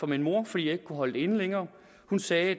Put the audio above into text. min mor fordi jeg ikke kunne holde det inde længere hun sagde at